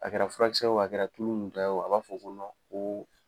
A kɛra furakisɛ ye o, a kɛra tulo munta ye o a b'a fɔ ko koo